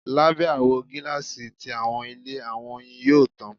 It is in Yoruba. Labẹ awọ gilasi ti awọn ile, awọn oyin yoo tan